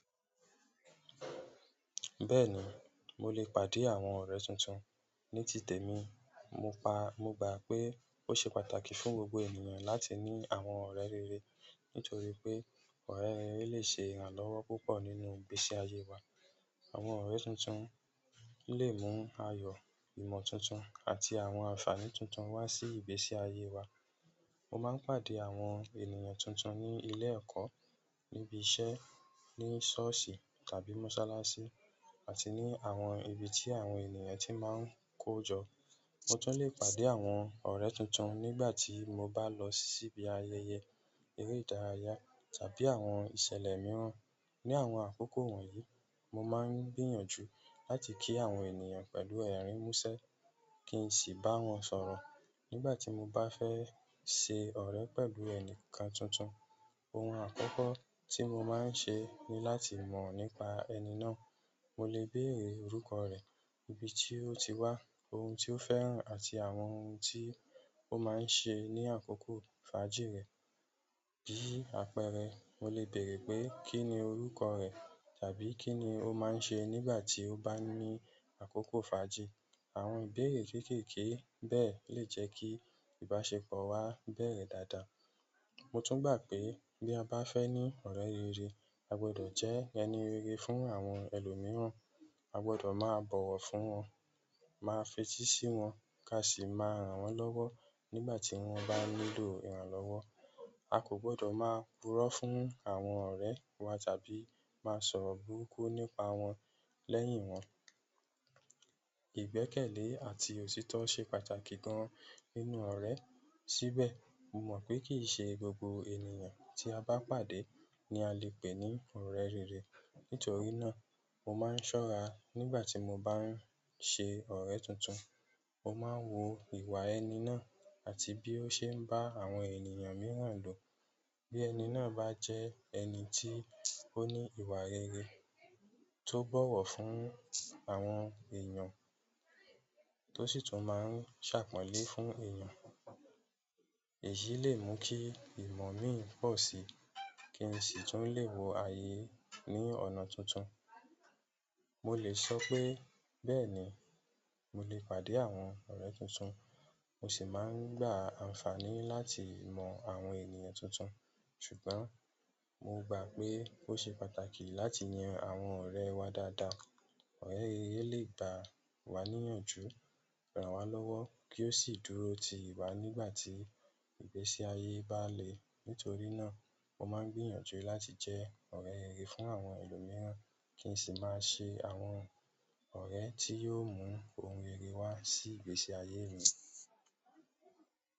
Bẹ́ẹ̀ni, mo lè pàdé àwọn ọ̀rẹ́ tuntun. Ní tìte mi, mo pa. Mo gbà pé ó ṣe pàtàkì fún gbogbo ènìyàn láti ní àwọn ọ̀rẹ́ rere nítorí pé ọ̀rẹ́ rere lè ṣe ìrànlọ́wọ́ púpọ̀ nínú ìgbésí ayé wa. Àwọn ọ̀rẹ́ tuntun lè mú ayọ̀, ìmọ̀ tuntun àti àwọn àǹfààní tuntun wá sí ìgbésí ayé wa. Mo máa ń pàdé àwọn ènìyàn tuntun ní ilé ẹ̀kọ́, níbi iṣẹ́, ní ṣọ́ọ̀ṣì tàbí mọ́sálásí, àti ní àwọn ibi tí àwọn ènìyàn tí máa ń kó jọ. Mo tún lè pàdé àwọn ọ̀rẹ́ tuntun nígbà tí mo bá lọ síbi ayẹyẹ, eré ìdárayá tàbí àwọn ìṣẹ̀lẹ̀ mìíràn. Ni àwọn akoko wonyii, mo maa n gbìyànjú láti ki àwọn ènìyàn pẹ̀lú erin muse, ki n si bawon sọ̀rọ̀. Nígbà tí mo bá fẹ́ ṣe ọ̀rẹ́ pẹ̀lú ẹni kan tuntun, ohun àkọ́kọ́ tí mo máa ń ṣe ni láti mọ̀ nípa ẹni náà. Mo lè béèrè orúkọ rẹ̀, ibi tí ó ti wá, ohun tí ó fẹ́ràn àti àwọn ohun tí ó máa ń ṣe ní àkókò fàájì rẹ̀. Bí àpẹẹrẹ, mo lè béèrè pé kíni orúkọ rẹ̀ àbí kíni ó máa ń ṣe nígbà tí ó bá ní àkókò fàájì. Àwọn ìbéèrè kéékèèké bẹ́ẹ̀ lè jẹ́ kí ìbáṣepọ̀ wa bẹ̀rẹ̀ dáadáa. Mo tun gba pe bi a ba fe ni ọ̀rẹ́ rere, a gbodo je ẹni rere fún àwọn elomiiran. A gbọdọ̀ máa bọ̀wọ̀ fún wọn, máa fetí sí wọn ká sì máa ràn wọ́n lọ́wọ́ nígbà tí wọ́n bá nílò ìrànlọ́wọ́. A kò gbọdọ̀ máa purọ́ fún àwọn ọ̀rẹ́ wa tàbí máa sọ̀rọ̀ burúkú nípa wọn lẹ́yìn wọn. Ìgbẹ́kẹ̀lé àti òtítọ́ ṣe pàtàkì gan-an nínú ọ̀rẹ́. Síbẹ̀, mo mọ̀ pé kìí ṣe gbogbo ènìyàn tí a bá pàdé ni a lè pè ní ọ̀rẹ́ rere. Nítorí náà, mo máa ń ṣọ́ra nígbà tí mo bá ń ṣe ọ̀rẹ́ tuntun. Mo máa ń wo ìwà ẹni náà àti bí ó ṣe ń bá àwọn ènìyàn mìíràn lò. Bí ẹni náà bá jẹ́ ẹni tí ó ní ìwà rere, tó bọ̀wọ̀ fún àwọn èèyàn, tó sì tún máa ń ṣàpọ̀ńlé fún èèyàn, èyí lè mú kí ìmọ̀ mi pọ̀ síi kí n sì tún lè wo ayé ní ọ̀nà tuntun. Mo lè sọ pé bẹ́ẹ̀ni, mo lè pàdé àwọn ọ̀rẹ́ tuntun, mo sì máa ń gba àǹfààní láti mọ̀ àwọn ènìyàn tuntun. Ṣùgbọ́n mo gbà pé ó ṣe pàtàkì láti yan àwọn ọ̀rẹ́ wa dáadáa. Ọ̀rẹ́ rere lè gba wá níyànjú, ràn wá lọ́wọ́ kí ó sì dúró ti wá nígbà tí ìgbésí ayé bá le. Nítorí náà, mo máa ń gbìyànjú láti jẹ́ ọ̀rẹ́ rere fún àwọn ẹlòmíràn kí n sì máa ṣe àwọn ọ̀rẹ́ tí yóò mú ohun rere wá sí ìgbésí ayé mi.